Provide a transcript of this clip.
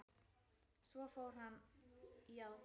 Svo fór hann í aðgerð.